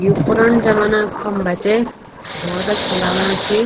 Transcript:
यु पूरन जमाना खम्बा च बहुत अच्छा लगणा छी।